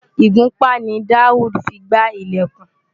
Ìgúnpá ni Daud fi gbá ilẹ̀kùn.